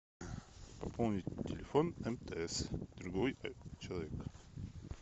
пополнить телефон мтс другой человек